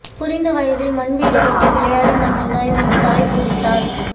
புரிந்த வயதில் மண் வீடுக்கட்டி விளையாடி மகிழ்ந்தாய் உன் தாய் பூரித்தார்